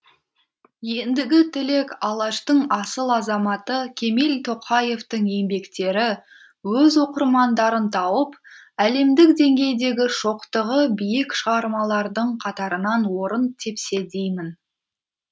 ендігі тілек алаштың асыл азаматы кемел тоқаевтың еңбектері өз оқырмандарын тауып әлемдік деңгейдегі шоқтығы биік шығармалардың қатарынан орын тепсе деймін